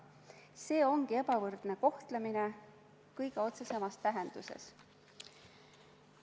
See ongi ebavõrdne kohtlemine kõige otsesemas tähenduses.